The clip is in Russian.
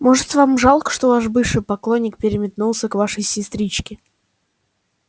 может вам жалко что ваш бывший поклонник переметнулся к вашей сестричке